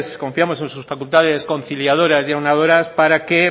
confiamos en sus facultades conciliadoras y aunadoras para que